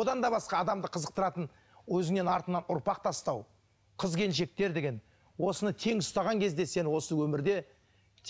одан да басқа адамды қызықтыратын өзіңнен артыңнан ұрпақ тастау қыз келіншектер деген осыны тең ұстаған кезде сен осы өмірде